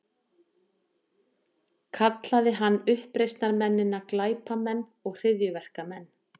Kallaði hann uppreisnarmennina glæpamenn og hryðjuverkamenn